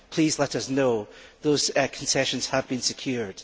Please let us know those concessions have been secured.